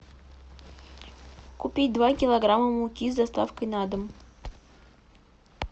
купи два килограмма муки с доставкой на дом